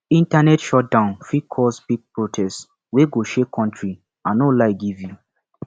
internet shutdown fit cause big protest wey go shake country i no lie give you